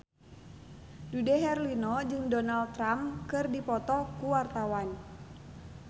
Dude Herlino jeung Donald Trump keur dipoto ku wartawan